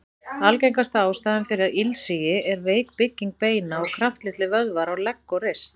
Algengasta ástæðan fyrir ilsigi er veik bygging beina og kraftlitlir vöðvar á legg og rist.